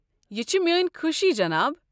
یہِ چھِ میٲنۍ خوشی، جناب۔